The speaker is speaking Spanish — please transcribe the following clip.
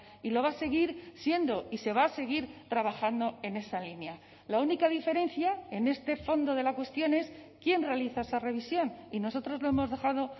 y lo va a seguir siendo y se va a seguir trabajando en esa línea la única diferencia en este fondo de la cuestión es quién realiza esa revisión y nosotros lo hemos dejado